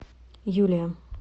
юлия